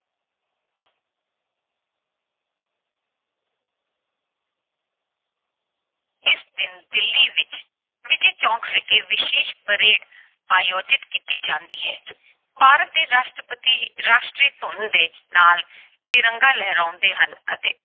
ਇਸ ਦਿਨ ਦਿੱਲੀ ਵਿੱਚ ਵਿਜੈ ਚੌਂਕ ਵਿਖੇ ਵਿਸ਼ੇਸ਼ parade ਆਯੋਜਿਤ ਕੀਤੀ ਜਾਂਦੀ ਹੈ। ਭਾਰਤ ਦੇ ਰਾਸ਼ਟਰਪਤੀ ਇੱਕ ਰਾਸ਼ਟਰੀ ਧੁਨ ਦੇ ਨਾਲ ਤਿਰੰਗਾ ਲਹਿਰਾਉਂਦੇ ਹਨ ਅਤੇ